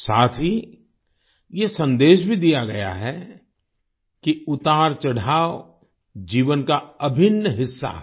साथ ही ये सन्देश भी दिया गया है कि उतारचढ़ाव जीवन का अभिन्न हिस्सा है